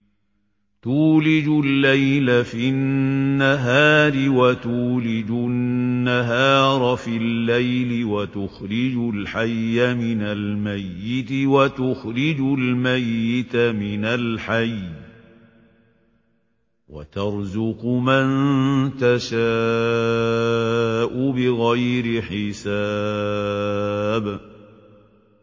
تُولِجُ اللَّيْلَ فِي النَّهَارِ وَتُولِجُ النَّهَارَ فِي اللَّيْلِ ۖ وَتُخْرِجُ الْحَيَّ مِنَ الْمَيِّتِ وَتُخْرِجُ الْمَيِّتَ مِنَ الْحَيِّ ۖ وَتَرْزُقُ مَن تَشَاءُ بِغَيْرِ حِسَابٍ